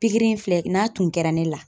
Pikiri in filɛ n'a tun kɛra ne la